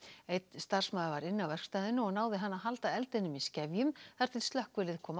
einn starfsmaður var inni á verkstæðinu og náði hann að halda eldinum í skefjum þar til slökkvilið kom á